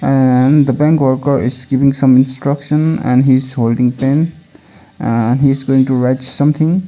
and the bank worker is giving some instruction and he's holding pen aa he's going to write something.